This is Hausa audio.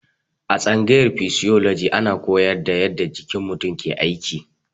A tsangayar fisioloji ana koyar da yadda jikin mutum ke aiki.